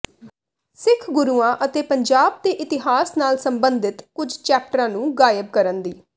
ਸਿੱਖ ਗੁਰੂਆਂ ਅਤੇ ਪੰਜਾਬ ਦੇ ਇਤਿਹਾਸ ਨਾਲ ਸਬੰਧਿਤ ਕੁਝ ਚੈਪਟਰਾਂ ਨੂੰ ਗ਼ਾਇਬ ਕਰਨ ਦੀ